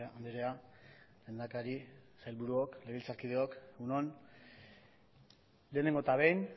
andrea lehendakari sailburuok legebiltzarkideok egun on lehenengo eta behin